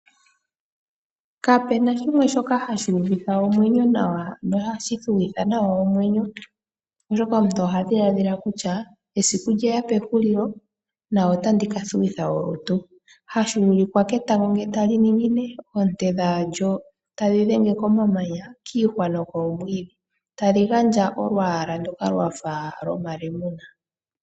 Kapena shimwe shoka hashi uvitha omwenyo nawa no hashi fuwitha nawa omwenyo oshoka omuntu ohadhiladhila kutya esiku lyeya pehulilo otandi kathuwitha olutu . Tashi vulika ketango ngele tali ningine koonte dhalyo tadhi dhenge komamanya, kiihwa nokoomwiidhi talu gandja olwaala ndoka lwafa lwomalemuna